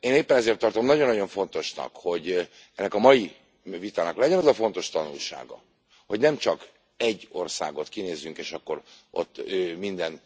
Én éppen ezért tartom nagyon nagyon fontosnak, hogy ennek a mai vitának legyen az a fontos tanulsága, hogy nem csak egy országot kinézünk, és akkor ott minden